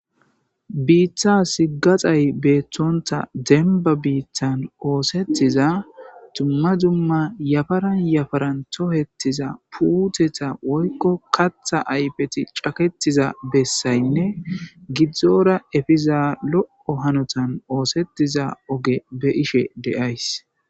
Biittas gaxay beettonta dembba biittan oosetiza dumma dumma yafaran yafaran tokketiza puuteta woykko kaththata ayfeti cakettiza bessaynne gini giddora efiza lo'o hanotani oosettishe de'iza oge be'ishe de'ayss.